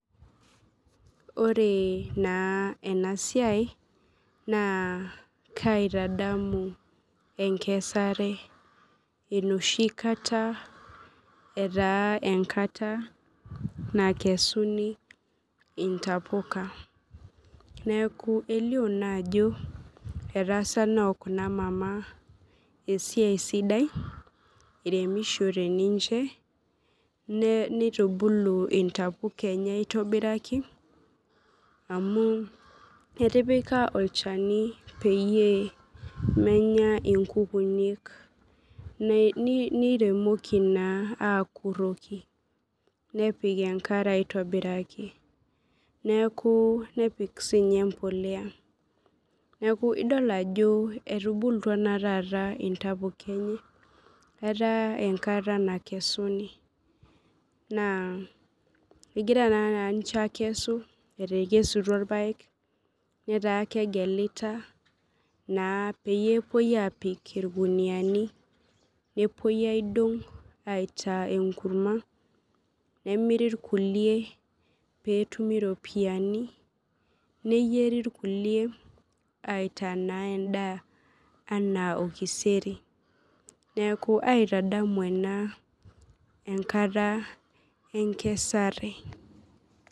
Ore na enasiai na kaitadamu enkesare enoshikata etaa enkata nakesuni intapuka neaku elio naa ako etaasa kuna mama esiai sidai iremishore ninche nitubul ntapuka enye aitobiraki anu etipa olchani peyie menya nkukunik niremoki na akuroki nepik enkare aitobiraki neaku nepik sinye empolea, nidol ajo etubulutua taata ntapuka ataa enkata nakesuni ataa egira ninche akesu netaa kegelita naa peyie epoi apik irkuniani nepuoi aidong aitaa enkurma nemiri irkulie petumi iropiyiani neyieri irkuli aitaa endaa anaa orkiseri neaku aitadamu ena enkata enkesare.